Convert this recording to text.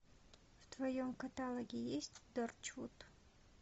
в твоем каталоге есть торчвуд